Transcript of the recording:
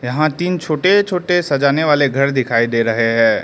यहां तीन छोटे छोटे सजाने वाले घर दिखाई दे रहे हैं।